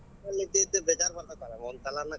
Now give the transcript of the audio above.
ಅಲ್ ಇದ್ದಿದ್ದು ಬೇಜಾರ್ ಬರತೆತಲಾ ಒಂದ್ ಸಲಾನ.